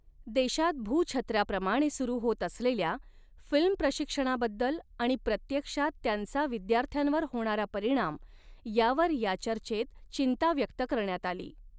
देशात भूछत्राप्रमाणे सुरू होत असलेल्या फिल्म प्रशिक्षणाबद्दल आणि प्रत्यक्षात त्यांचा विद्यार्थ्यांवर होणारा परिणाम यावर या चर्चेत चिंता व्यक्त करण्यात आली.